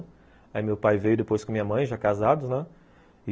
Aí meu pai veio depois com minha mãe, já casados, né?